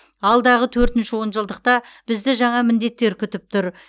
алдағы төртінші он жылдықта бізді жаңа міндеттер күтіп тұр